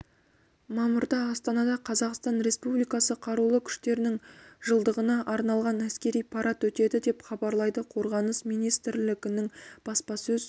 мамырда астанада қазақстан республикасы қарулы күштерінің жылдығына арналған әскери парад өтеді деп хабарлайды қорғаныс министрлігінің баспасөз